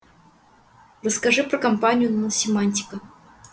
расскажи про компанию наносемантика